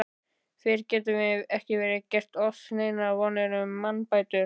Fyrr getum vér ekki gert oss neinar vonir um mannbætur.